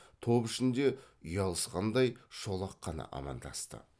топ ішінде ұялысқандай шолақ қана амандасты